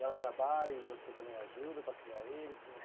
E ela trabalha e você também ajuda para criar eles, como